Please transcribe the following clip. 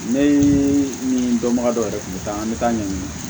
Ne ni dɔnbaga dɔw yɛrɛ tun bɛ taa an bɛ taa ɲɛɲini